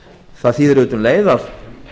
það þýðir auðvitað um leið að